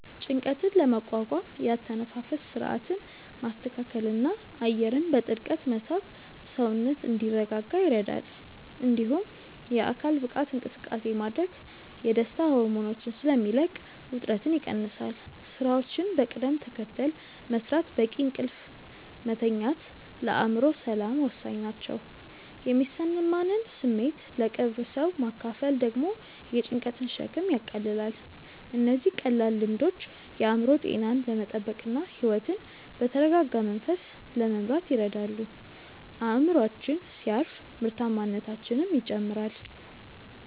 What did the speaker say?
ጭንቀትን ለመቋቋም የአተነፋፈስ ሥርዓትን ማስተካከልና አየርን በጥልቀት መሳብ ሰውነት እንዲረጋጋ ይረዳል። እንዲሁም የአካል ብቃት እንቅስቃሴ ማድረግ የደስታ ሆርሞኖችን ስለሚለቅ ውጥረትን ይቀንሳል። ሥራዎችን በቅደም ተከተል መሥራትና በቂ እንቅልፍ መተኛት ለአእምሮ ሰላም ወሳኝ ናቸው። የሚሰማንን ስሜት ለቅርብ ሰው ማካፈል ደግሞ የጭንቀትን ሸክም ያቃልላል። እነዚህ ቀላል ልምዶች የአእምሮ ጤናን ለመጠበቅና ሕይወትን በተረጋጋ መንፈስ ለመምራት ይረዳሉ። አእምሮአችን ሲያርፍ ምርታማነታችንም ይጨምራል።